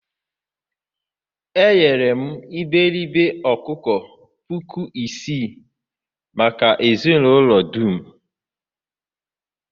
eghere m iberibe ọkụkọ puku isii maka ezinụlọ dum.